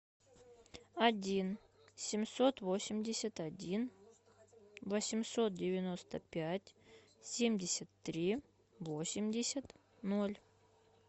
один семьсот восемьдесят один восемьсот девяносто пять семьдесят три восемьдесят ноль